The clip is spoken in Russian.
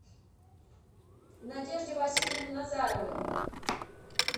надежде васильевне назаровой